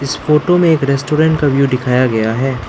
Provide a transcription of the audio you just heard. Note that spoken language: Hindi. इस फोटो में एक रेस्टोरेंट का व्यू दिखाया गया है।